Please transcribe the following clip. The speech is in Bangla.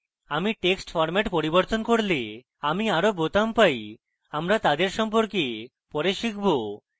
আমি text ফরম্যাট পরিবর্তন করলে আমি আরো বোতাম পাই আমরা তাদের সম্পর্কে পরে শিখব